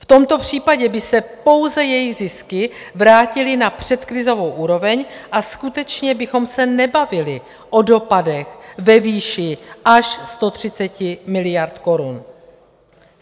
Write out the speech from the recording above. V tomto případě by se pouze jejich zisky vrátily na předkrizovou úroveň a skutečně bychom se nebavili o dopadech ve výši až 130 miliard korun.